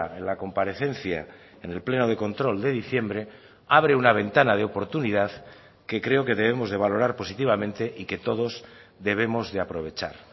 en la comparecencia en el pleno de control de diciembre abre una ventana de oportunidad que creo que debemos de valorar positivamente y que todos debemos de aprovechar